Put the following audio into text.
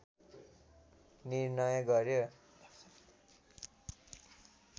निर्णय गर्‍यो